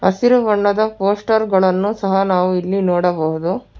ಹಸಿರು ಬಣ್ಣದ ಪೋಸ್ಟರ್ ಗಳನ್ನು ಸಹ ನಾವು ಇಲ್ಲಿ ನೋಡಬಹುದು.